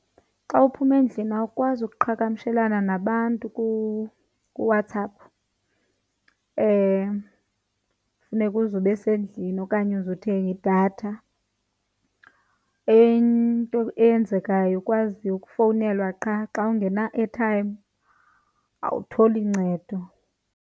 Xa uphuma endlini awukwazi ukuqhagamshelana nabantu kuWhatsApp, funeka uze ube esendlini okanye uze uthenge idatha. Enye into eyenzekayo ukwazi ukufowunelwa qha, xa ungena-airtime awutholi ncedo.